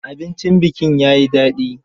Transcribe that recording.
Abincin bikin ya yi daɗi.